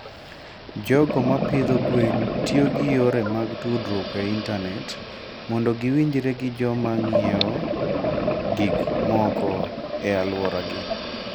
jogo ma pidho gwen tiyo gi yore mag tudruok e intanet mondo giwinjre gi joma ng'iewo gik moko e alworagi.